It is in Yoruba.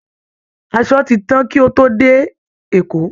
Asọ ti tán kí ó tó dé Èkó